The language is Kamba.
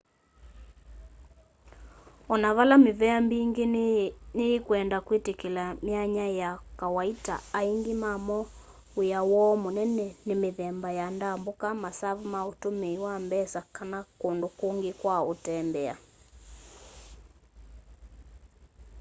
onavale mivea mbingi ni yi kwenda kwitikila myanya ya kawaita aingi mamo wia woo munene ni mithemba ya ndambuka masavu ma utumii wa mbesa kana kundu kungi kwa utembea